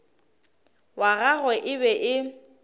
wa gagwe e be e